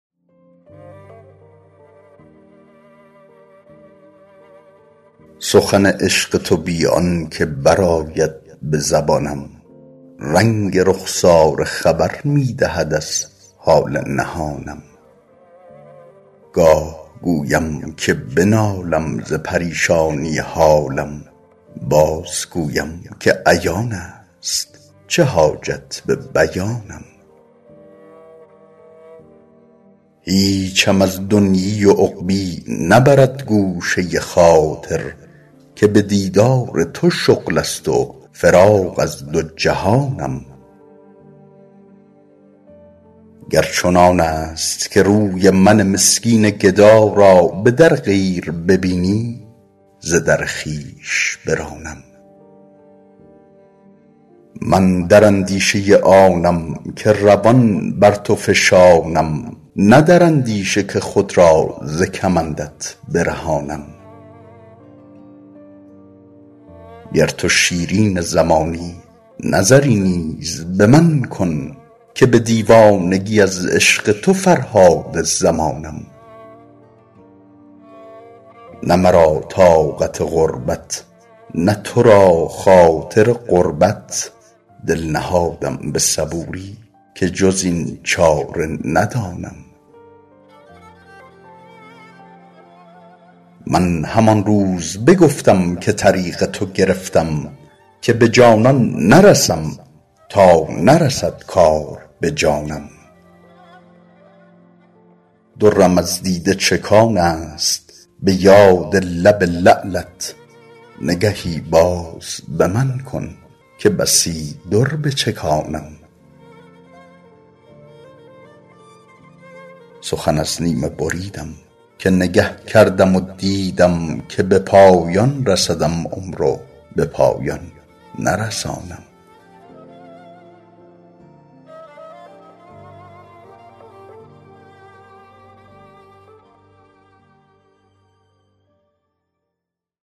سخن عشق تو بی آن که برآید به زبانم رنگ رخساره خبر می دهد از حال نهانم گاه گویم که بنالم ز پریشانی حالم بازگویم که عیان است چه حاجت به بیانم هیچم از دنیی و عقبیٰ نبرد گوشه خاطر که به دیدار تو شغل است و فراغ از دو جهانم گر چنان است که روی من مسکین گدا را به در غیر ببینی ز در خویش برانم من در اندیشه آنم که روان بر تو فشانم نه در اندیشه که خود را ز کمندت برهانم گر تو شیرین زمانی نظری نیز به من کن که به دیوانگی از عشق تو فرهاد زمانم نه مرا طاقت غربت نه تو را خاطر قربت دل نهادم به صبوری که جز این چاره ندانم من همان روز بگفتم که طریق تو گرفتم که به جانان نرسم تا نرسد کار به جانم درم از دیده چکان است به یاد لب لعلت نگهی باز به من کن که بسی در بچکانم سخن از نیمه بریدم که نگه کردم و دیدم که به پایان رسدم عمر و به پایان نرسانم